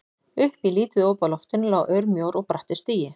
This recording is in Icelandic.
Upp í lítið op á loftinu lá örmjór og brattur stigi.